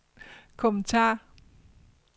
kommentar